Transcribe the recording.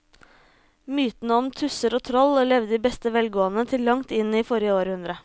Mytene om tusser og troll levde i beste velgående til langt inn i forrige århundre.